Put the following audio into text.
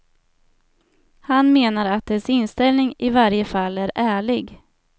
Han menar att dess inställning i varje fall är ärlig.